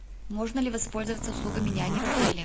можно ли воспользоваться услугами няни в отеле